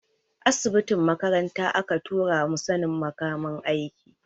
Asibitin makaranta aka tura mu sanin makamin aiki.